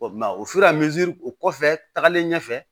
O kuma o si la o kɔfɛ tagalen ɲɛfɛ